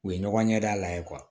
U ye ɲɔgɔn ɲɛda la ye